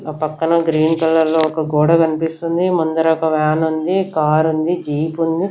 ఆ పక్కన గ్రీన్ కలర్లో ఒక గోడ కన్పిస్తుంది ముందర ఒక వ్యానుంది కారుంది జీపుంది .